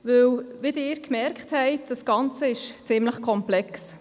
Denn wie Sie bemerkt haben, ist das Ganze ziemlich komplex.